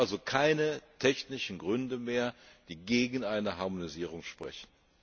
Es gibt also keine technischen Gründe mehr, die gegen eine Harmonisierung sprechen.